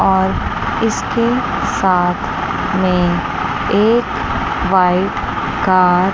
और इसके साथ में एक व्हाईट कार --